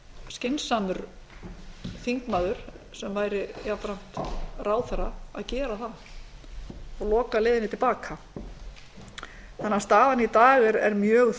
skynsamur þingmaður sem væri jafnframt ráðherra að gera það og loka leiðinni til baka staðan í dag er mjög